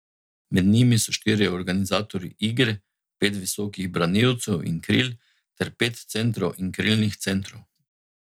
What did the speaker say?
Med njimi so štirje organizatorji igre, pet visokih branilcev in kril ter pet centrov in krilnih centrov.